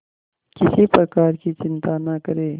किसी प्रकार की चिंता न करें